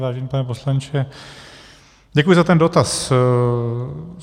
Vážený pane poslanče, děkuji za ten dotaz.